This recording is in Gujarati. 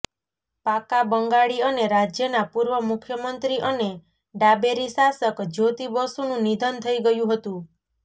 પાક્કા બંગાળી અને રાજ્યના પૂર્વ મુખ્યમંત્રી અને ડાબેરી શાસક જ્યોતિ બસુનું નિધન થઇ ગયું હતું